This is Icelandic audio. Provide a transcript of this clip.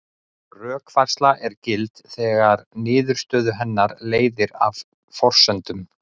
Rökfærsla er gild þegar niðurstöðu hennar leiðir af forsendunum.